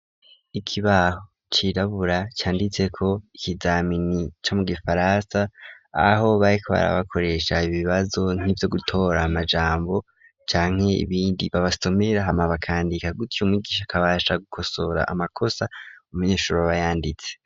Ikibaho cirabura canditseko ikizamini ca mu gifaransa aho baeko barabakoresha ibibazo nk'ivyo gutora amajambo canke ibindi babasomera hamabakandika gutiya umwigisha akabasha gukosora amakosa mu munyeshuro babayanditse.